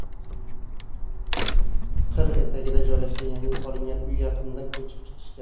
Qir etagida joylashgan yangi solingan uyga yaqinda ko‘chib chiqishgan.